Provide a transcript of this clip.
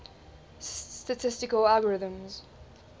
statistical algorithms